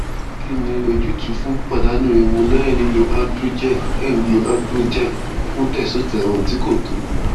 kí ni ojútùú fún pípadànù irun lẹyìn lílo androgel lẹyìn lílo androgel fún testosterone tí kò tó